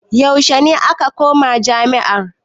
Yaushe ne ka kamma jami'a?